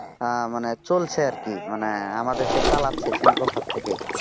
আহ মানে চলছে আরকি মানে আমাদেরকে চালাচ্ছে শিল্পখাত থেকে